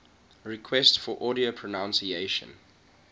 requests for audio pronunciation